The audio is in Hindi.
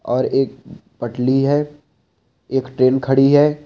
और एक पटली है एक ट्रैन खड़ी है।